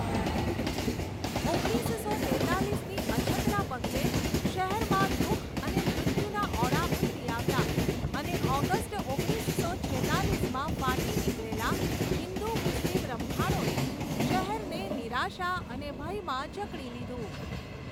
ઓગણીસસો તેતાલીસની અછતના પગલે શહેરમાં દુઃખ અને મૃત્યુના ઓળા ઊતરી આવ્યા અને ઑગસ્ટ ઓગણીસો છેતાલીસમાં ફાટી નીકળેલા હિન્દુ મુસ્લિમ રમખાણોએ શહેરને નિરાશા અને ભયમાં જકડી લીધું.